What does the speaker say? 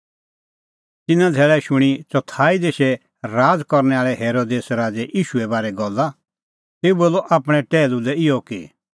तिन्नां धैल़ै शूणीं चौथाई देशै राज़ करनै आल़ै हेरोदेस राज़ै ईशूए बारै गल्ला तेऊ बोलअ आपणैं टैहलू लै इहअ कि